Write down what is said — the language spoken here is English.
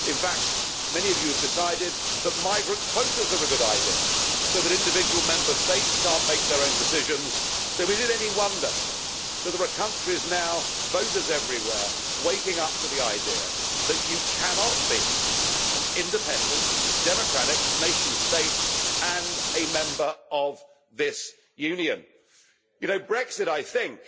In fact, many of you have decided that migrant quotas are a good idea, so that individual Member States cannot make their own decisions, so is it any wonder that there are countries now, voters everywhere, waking up to the idea that you cannot be an independent democratic nation state and a member of this Union. Brexit, I think,